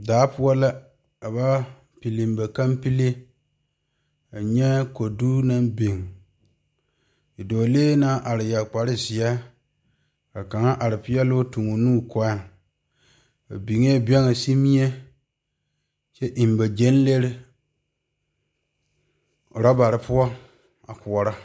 Daa poɔ la ka ba pili ba kapili nyɛ kodo naŋ biŋ bidɔɔlee naŋ yeere kpare ziɛ tuŋ o nu o koɔɛ ba biŋe bɛge niŋmie kyɛ eŋ ba gyan lee orobaare poɔ a koɔrɔ.